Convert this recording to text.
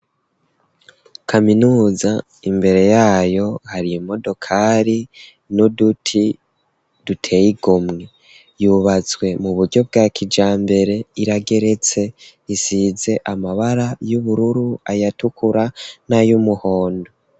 Kaminuza, imbere y'ayo hari imodokari n'uduti duteye igomwe. Yubatswe mu buryo bwa kijambere, irageretse. Isize amabara y'ubururu, ayatukura, nay'umuhondo.